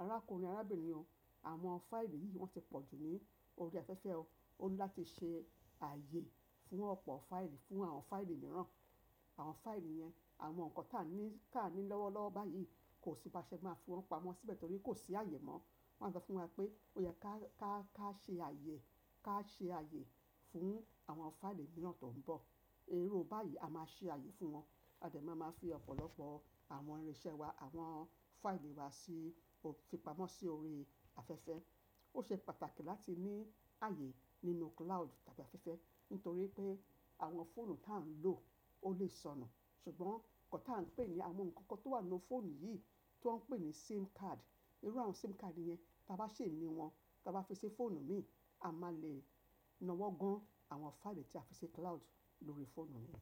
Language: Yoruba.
arákùnrin arábìnrin o, àwọn fáìlì yìí wọ́n ti pọ̀ jù ní orí afẹ́fẹ́ o. Ó ní láti ṣe ààyè fún ọ̀pọ̀ fáìlì, fún àwọn fáìlì mìíràn. Àwọn fáìlì yẹn, àwọn nǹkan táà ń ní, táà ń ní lọ́wọ́lọ́wọ́ báyìí kò sí bá a ṣe máa fi wọ́n pamọ́ síbẹ̀ torí kò sí ààyè mọ́. Wọ́n á sọ fún wa pé ó yẹ ká, ká, ká ṣe ààyè, ká ṣe ààyè fún àwọn fáìlì mìíràn tó ń bọ̀. Irú báyìí a máa ṣe ààyè fún wọn. A dẹ̀ máa máa fi ọ̀pọ̀lọpọ̀ àwọn irinṣẹ́ wa, àwọn fáìlì wa sí o-- fi pamọ́ sí orí afẹ́fẹ́. Ó ṣe pàtàkì láti ní ààyè nínú cloud tàbí afẹ́fẹ́ nítorí pé àwọn fóònù táa ń lò ó lè sọnù. Ṣùgbọ́n nǹkan táa ń pè ní àwọn nǹkan kan tó wà nínú fóònù yìí tó ń pè ní SIM card, irú àwọn SIM card yẹn táa bá ṣì ní wọn, táa bá fi sí fóònù míì, a máa lè nawọ́ gán àwọn fáìlì táa fi sí cloud lórí fóònù míì.